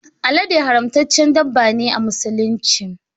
Alade haramtaccen dabba ne a musulunci